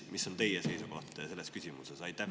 Mis on teie seisukoht selles küsimuses?